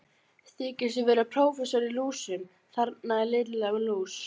Þykistu vera prófessor í lúsum, þarna Lilla lús!